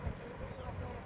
Ay mama hardasan?